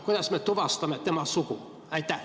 Kuidas me tuvastame tema sugu?